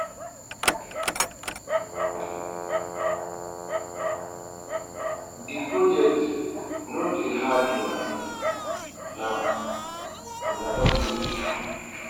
de project no dey hard una now now una now una don finish am